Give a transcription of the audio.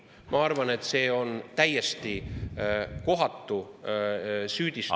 Ma arvan, et see on täiesti kohatu süüdistus …